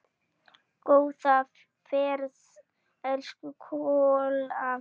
Góða ferð, elsku Kolla.